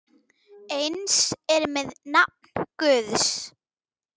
Eins er með nafn Guðs.